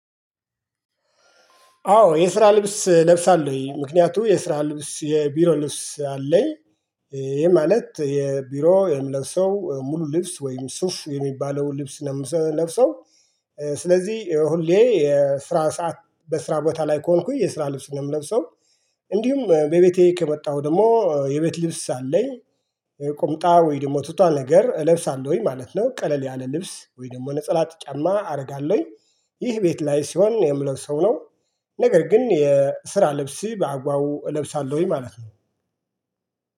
አዎ ልብስ ለብሳለሁ ምክንያቱም የስራ ልብስ የቢሮ ልብስ አለኝ ይሄ ማለት የቢሮ የምለብሰው ሙሉ ልብስ ወይም ሱፍ የሚባለው ልብስ ነው የምለብሰው። ስለዚህ ሁሌ የስራ ሰዓት በስራ ቦታ ላይ ከሆንኩኝ የስራ ልብስ እምለብሰው። በቤቴ ከመጣሁ ደግሞ የቤት ልብስ አለኝ። ቁምጣ ወይ ደግሞ ቱቷ ነገር እለብሳለሁኝ ማለት ነው ቀለል ያለ ልብስ ወይ ደግሞ ነጸላ ጫማ አደርጋለሁኝ ይህ ቤት ላይ ሲሆን የምለብሰው ነው። ነገር ግን የስራ ልብስ በአግባቡ እለብሳለሁኝ ማለት ነው።